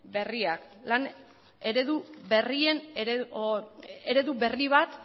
berria lan eredu berri bat